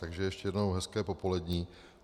Takže ještě jednou hezké popoledni.